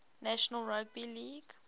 national rugby league